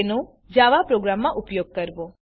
તેનો જાવા પ્રોગ્રામમાં ઉપયોગ કરવો